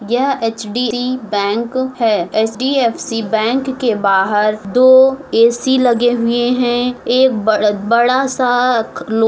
यह HDFC. Bank है HDFC. Bank के बाहर दो ए.सी. लगे हुए हैं एक बड़ा सा लो --